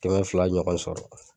Kɛmɛ fila ɲɔgɔn sɔrɔ.